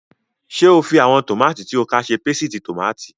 Ṣé o fi àwọn tòmátì tí o ká ṣe pésìtì tòmátì?